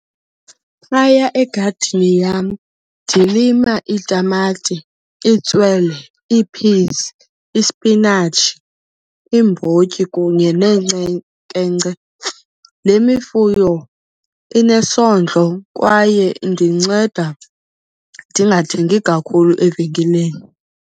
Phaya egadini yam ndilima itamati, itswele, ii-peas, ispinatshi, iimbotyi kunye . Le mifuno inesondlo kwaye indinceda ndingathengi kakhulu evenkileni.